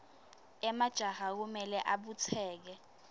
emajaha kumele abutseke